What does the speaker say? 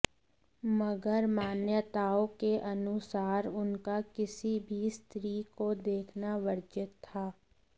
मगर मान्यताओं के अनुसार उनका किसी भी स्त्री को देखना वर्जित था